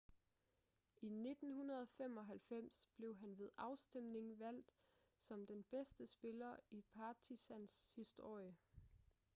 i 1995 blev han ved afstemning valgt som den bedste spiller i partizans historie